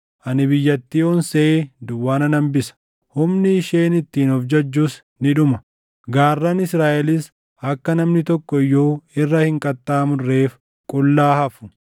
Ani biyyattii onsee duwwaa nan hambisa; humni isheen ittiin of jajjus ni dhuma; gaarran Israaʼelis akka namni tokko iyyuu irra hin qaxxaamurreef qullaa hafu.